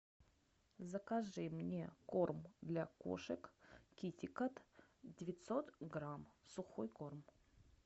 закажи мне корм для кошек китикет девятьсот грамм сухой корм